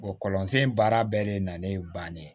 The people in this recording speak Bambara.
kɔlɔn sen baara bɛɛ de nalen bannen